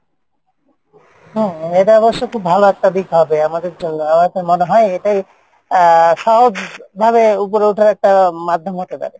হ্যাঁ এটা অবশ্য খুব ভালো একটা দিক হবে আমাদের জন্য আমার তো মনে হয় এটাই আহ সহজ ভাবে উপরে উঠার একটা মাধ্যম হতে পারে।